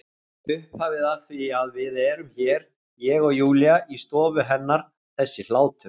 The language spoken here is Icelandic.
Upphafið að því að við erum hér, ég og Júlía, í stofu hennar þessi hlátur.